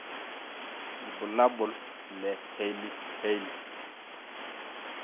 Ibulabul le Hailey Hailey.